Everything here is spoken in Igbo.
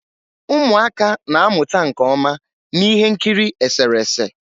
Ụmụaka na-amụta nke ọma na ihe nkiri eserese.